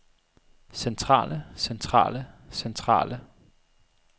centrale centrale centrale